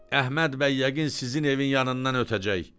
Əhməd bəy yəqin sizin evin yanından ötəcək.